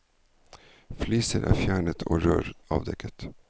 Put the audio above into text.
Fliser er fjernet og rør avdekket.